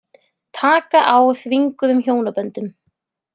Taka á þvinguðum hjónaböndum